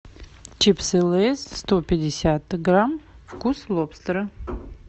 чипсы лейс сто пятьдесят грамм вкус лобстера